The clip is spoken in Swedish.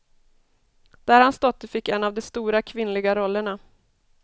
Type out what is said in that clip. Där hans dotter fick en av de stora kvinnliga rollerna.